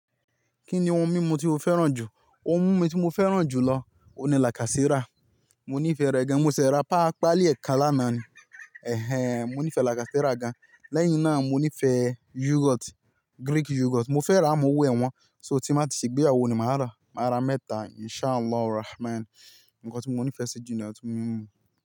Kí ni ohun mímu tí o fẹ́ràn jù? Ohun mímu tí mo fẹ́ràn jù lọ, òun ni lacasera. Mo nífẹ̀ẹ́ rẹ̀ gan. Mo ṣẹ̀ rà pa á pálí ẹ̀ kan lánàá ni. Ẹ̀hẹn, mo nífẹ̀ẹ́ lacasera gan. Lẹ́yìn náà mo nífẹ̀ẹ́ yogurt, Greek yogurt. Mo fẹ́ rà ámo'wo ẹ̀ wọ́n. So tí má ti ṣe gbéyawọ́ ni màá rà. Màá rà mẹ́ta Insha'Allah Rahman. Nǹkan tí mo nífẹ̀ẹ́ sí jù ní ọtí mímu.